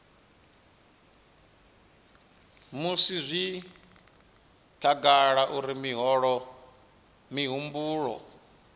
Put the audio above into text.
musi zwi khagala uri mihumbulo